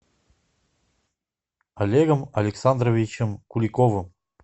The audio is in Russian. олегом александровичем куликовым